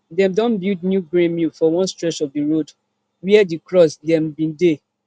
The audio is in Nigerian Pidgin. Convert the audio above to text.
dem don build new grain mill for one stretch of di road wia di cross dem bin dey